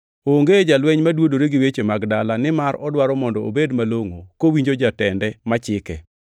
Onge jalweny ma dwodore gi weche mag dala nimar odwaro mondo obed malongʼo kowinjo jatende ma chike.